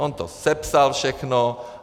On to sepsal všechno.